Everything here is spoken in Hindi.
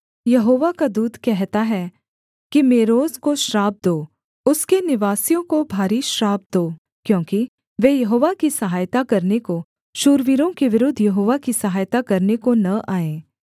यहोवा का दूत कहता है कि मेरोज को श्राप दो उसके निवासियों को भारी श्राप दो क्योंकि वे यहोवा की सहायता करने को शूरवीरों के विरुद्ध यहोवा की सहायता करने को न आए